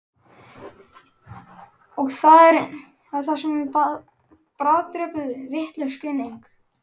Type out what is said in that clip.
Og það er það sem bráðdrepur, vitlaus greining.